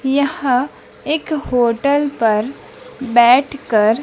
यहां एक होटल पर बैठकर--